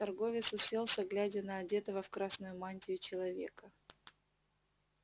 торговец уселся глядя на одетого в красную мантию человека